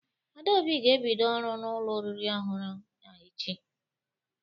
Adaobi ga-ebido ọrụ n'ụlọ oriri ọhụrụ a echi.